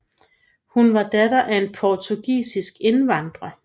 Hun var datter af en portugisisk indvandrer